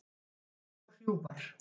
Þykkar og hrjúfar.